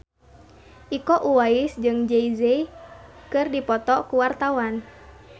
Iko Uwais jeung Jay Z keur dipoto ku wartawan